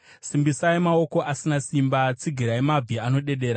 Simbisai maoko asina simba, tsigirai mabvi anodedera;